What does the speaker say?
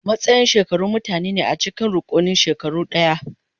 Matsayin shekaru mutane ne a cikin rukunin shekaru ɗaya.